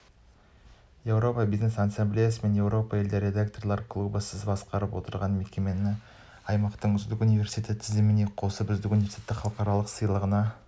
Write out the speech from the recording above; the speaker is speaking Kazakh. еуропа бизнес ассамблеясы мен еуропа елдері ректорлар клубы сіз басқарып отырған мекемені аймақтық үздік университеттер тізіміне қосып үздік университет халықаралық сыйлығына